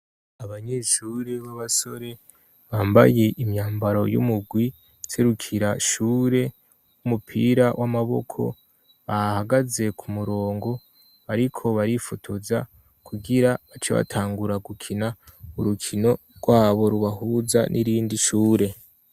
Abanyeshure b'abasore bambaye imyambaro y'umugwi userukira ishure w'umupira w'amaboko bahagaze ku murongo ariko barifotoza kugira bacebatangura gukina urukino rwabo rubahuza n'irindi shure.